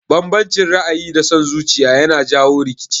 Banbancin ra'ayi da son zuciya yana jawo rikici